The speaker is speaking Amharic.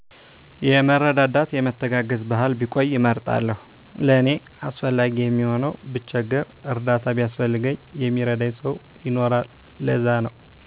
የመረዳዳት የመተጋገዝ ባህል ቢቆይ እመርጣለሁ ለኔ አስፈላጊ የሚሆነዉ ብቸገር እርዳታ ቢያስፈልገኝ የሚረዳኝ ሰዉ ይኖራል ለዛነዉ